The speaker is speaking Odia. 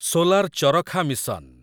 solar Charkha mission